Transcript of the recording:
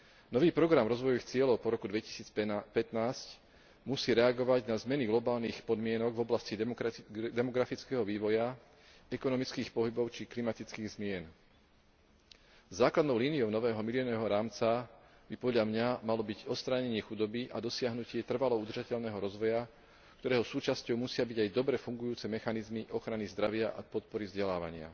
Nový program rozvojových cieľov po roku 2015 musí reagovať na zmeny globálnych podmienok v oblasti demografického vývoja, ekonomických pohybov či klimatických zmien. Základnou líniou nového miléniového rámca by, podľa mňa, malo byť odstránenie chudoby a dosiahnutie trvalo udržateľného rozvoja, ktorého súčasťou musia byť aj dobre fungujúce mechanizmy ochrany zdravia a podpory vzdelávania.